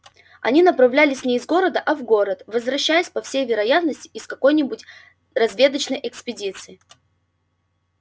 они направлялись не из города а в город возвращаясь по всей вероятности из какой нибудь разведочной экспедиции